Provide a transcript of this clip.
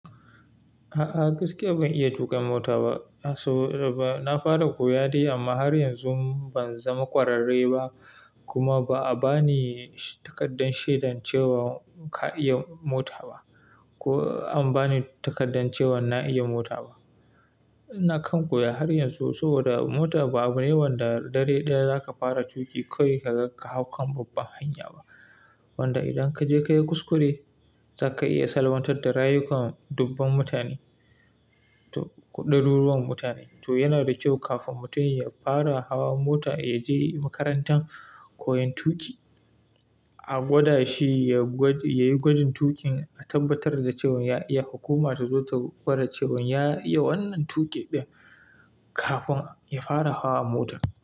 A'a gaskiya ban iya tuƙa mota ba. Na fara koyade amma har yanzu ban zama ƙwararre ba, kuma ba'a ba ni takardar shaidar cewa ka iya mota ba, ko an ba ni takardar cewa na iya mota ba. Ina kan koya har yanzu, saboda mota ba abu ne wanda dare ɗaya za ka fara tuƙi kawai, ka hau kan babban hanya ba. Wanda idan ka je ka yi kuskure, zaka iya salwantar da rayukan dubban mutane, ko ɗaruruwan mutane. To yana da kyau kafin mutum ya fara hawa mota ya je makarantar koyon tuƙi, a gwada shi ya yi gwajin tuƙin a tabbatar da cewa ya iya, hukuma ta zo ta gwada cewan ya iya wannan tuƙi ɗin, kafin ya fara hawa motar.